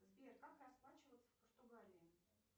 сбер как расплачиваться в португалии